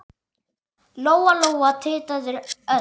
Lóa-Lóa titraði öll.